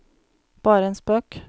bare en spøk